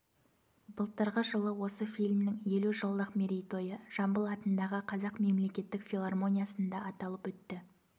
былтырғы жылы осы фильмнің елу жылдық мерейтойы жамбыл атындағы қазақ мемлекеттік филармониясында аталып өтті